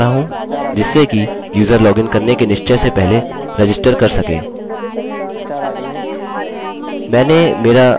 मैं एक user registration form बना रहा हूँ जिससे कि यूज़र लॉगिन करने के निश्चय से पहले रजिस्टर कर सके